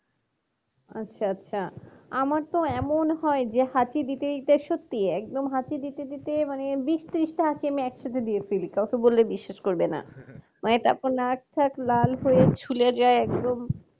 আচ্ছা আচ্ছা আমার তো এমন হয় যে হাঁচি দিতে দিতে সত্যি একদম হাঁচি দিতে দিতে মানে বিশ ত্রিশটি হাঁচি আমি একসাথে দিয়ে ফেলি কাউকে বললে বিশ্বাস করবে না মানে তখন নাক চোখ লাল হয় ফুলে যায় একদম